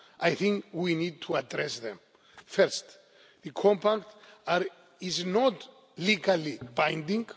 I think we need to address them. First, the compact is not legally binding.